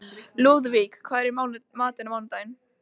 Lúðvík, hvað er í matinn á miðvikudaginn?